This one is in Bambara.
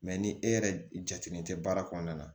ni e yɛrɛ jatelen tɛ baara kɔnɔna na